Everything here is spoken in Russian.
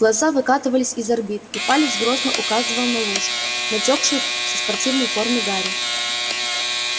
глаза выкатывались из орбит а палец грозно указывал на лужу натёкшую со спортивной формы гарри